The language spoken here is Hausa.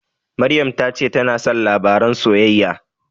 Maryam ta ce tana son labaran soyayya.